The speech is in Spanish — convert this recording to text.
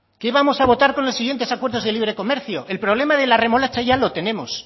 qué vamos a votar con los siguientes acuerdos de libre comercio el problema de la remolacha ya lo tenemos